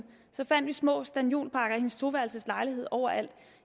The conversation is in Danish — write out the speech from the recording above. fandt vi små stanniolpakker i hendes toværelseslejlighed overalt